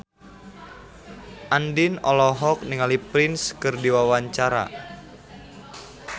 Andien olohok ningali Prince keur diwawancara